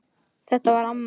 Þetta var amma.